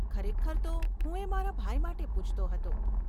ખરેખર તો હું એ મારા ભાઈ માટે પૂછતો હતો.